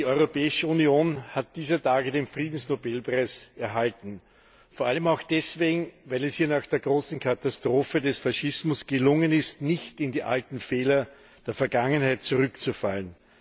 Die Europäische Union hat dieser Tage den Friedensnobelpreis erhalten, vor allem auch deswegen, weil es hier nach der großen Katastrophe des Faschismus gelungen ist, nicht in die alten Fehler der Vergangenheit zurückzufallen.